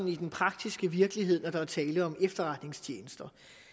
i den praktiske virkelighed når der er tale om efterretningstjenester